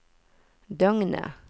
døgnet